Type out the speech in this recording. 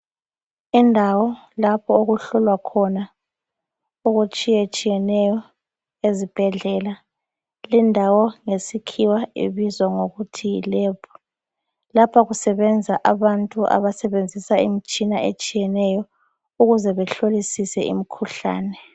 Indawo lapho okuhlolwa khona okutshiyetshiyeneyo ezibhedlela. Lindawo ngesikhiwa ibizwa ngokuthi yilab. Lapha kusebenza abantu abasebenzisa imtshina etshiyeneyo ukuze behlolisise imkhuhlane.